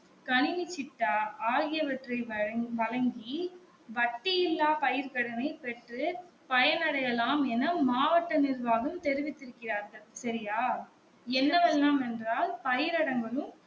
கணினி சிட்டா ஆகியவற்றை வழங் வழங்கி வட்டி இல்லா பயிர் கடனை பெற்று பயனடையலாம் என மாவட்ட நிர்வாகம் தெரிவித்து இருக்கிறார்கள் சரியா என்னவெல்லாம் என்றால் பயிரடங்கு